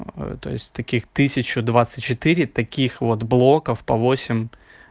то есть таких тысячу двадцать четыре таких вот блоков по восемь